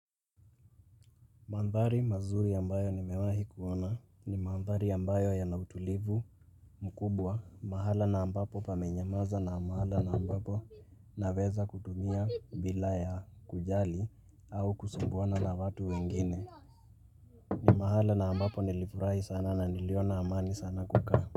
Mandhari mazuri ambayo nimewahi kuona ni mandhari yambayo ya nautulivu mkubwa mahala na ambapo pamenyamaza na mahala na ambapo na weza kutumia bila ya kujali au kusumbuana na watu wengine. Ni mahala na ambapo nilifurahi sana na niliona amani sana kukaa.